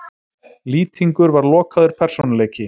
Lýtingur var lokaður persónuleiki.